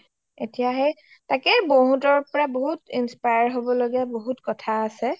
এতিয়া সেই তাকেই বৌ হতৰ পৰা বহুত inspire হ’ব লগিয়া বহুত কথায়ে আছে